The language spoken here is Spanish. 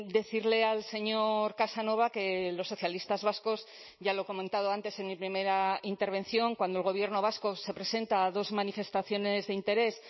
decirle al señor casanova que los socialistas vascos ya lo he comentado antes en mi primera intervención cuando el gobierno vasco se presenta a dos manifestaciones de interés